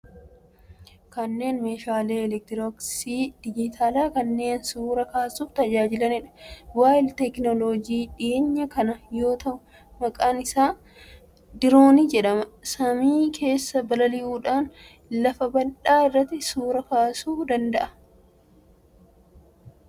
Kunneen meeshaalee elektirooniksii dijitaalaa kanneen suuraa kaasuuf tajaajilaniidha. Bu'aa teekinooloojii dhiheenya kanaa yoo ta'u, maqaan isaa diroonii jedhama. Samii keessa balali'uudhaan lafa bal'aa irratti suuraa kaasuu danda'a. Akkasumas meeshaa fageenya irraa ittiin to'atamu ni qaba.